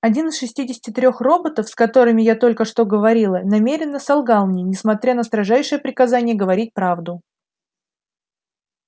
один из шестидесяти трёх роботов с которыми я только что говорила намеренно солгал мне несмотря на строжайшее приказание говорить правду